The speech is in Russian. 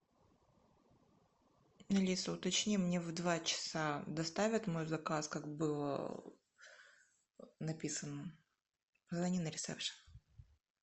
алиса уточни мне в два часа доставят мой заказ как было написано позвони на ресепшн